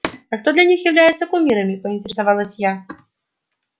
а кто для них является кумирами поинтересовалась я